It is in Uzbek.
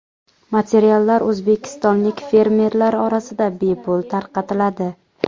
Materiallar o‘zbekistonlik fermerlar orasida bepul tarqatiladi.